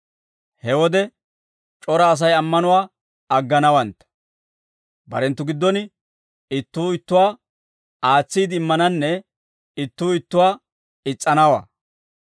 He wode c'ora Asay ammanuwaa agganawantta; barenttu giddon ittuu ittuwaa aatsiide immananne ittuu ittuwaa is's'anawaa.